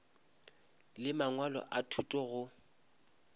le mangwalo a thuto go